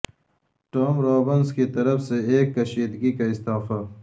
Tom Robbins کی طرف سے ایک کشیدگی کا استعفی